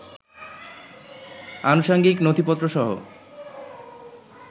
আনুষাঙ্গিক নথিপত্রসহ